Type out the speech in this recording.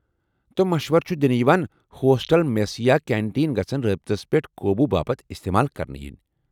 تہٕ مشورٕ چُھ دِنہِ یوان ہوسٹل میس یا کینٹین گژھن رٲبطس پیٹھ قوبوٗ باپت استعمال كرنہٕ یِنۍ ۔